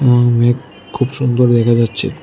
মেঘ খুব সুন্দর দেখা যাচ্ছে।